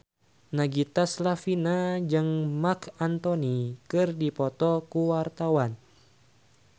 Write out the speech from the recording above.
Nagita Slavina jeung Marc Anthony keur dipoto ku wartawan